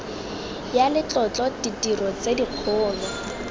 ya letlotlo ditiro tse dikgolo